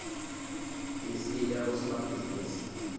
tisita bosomabhizinisi